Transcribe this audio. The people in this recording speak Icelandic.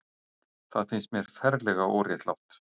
Það finnst mér ferlega óréttlátt.